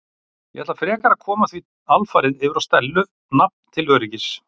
Ég ætla frekar að koma því alfarið yfir á Stellu nafn til öryggis.